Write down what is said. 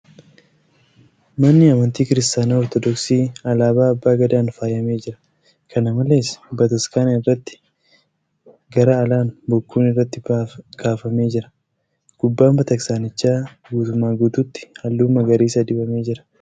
Manni amantii Kiristaanaa Ortoodooksii alaabaa Abbaa Gadaan faayamee jira . Kana malees, bataskaana irratti garaa alaan bokkuun irratti kaafamee jira . Gubbaan bataskaanichaa guutuumaa guutuutti halluu magariisa dibamee jira .